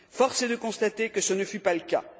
Force est de constater que ce ne fut pas le cas.